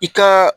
I ka